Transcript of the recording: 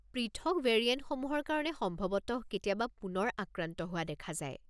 পৃথক ভেৰিয়েণ্টসমূহৰ কাৰণে সম্ভৱতঃ কেতিয়াবা পুনৰ আক্ৰান্ত হোৱা দেখা যায়।